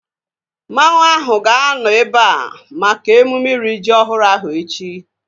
Mmanwu ahu ga-anọ ebea maka emume iri ji ọhụrụ ahu echi